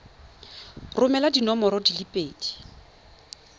romela diforomo di le pedi